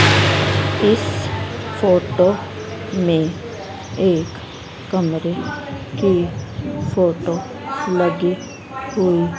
इस फोटो में एक कमरे की फोटो लगी हुई--